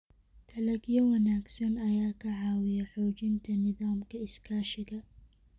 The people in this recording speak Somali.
Dalagyo wanaagsan ayaa ka caawiya xoojinta nidaamka iskaashiga.